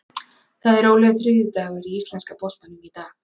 Það er rólegur þriðjudagur í íslenska boltanum í dag.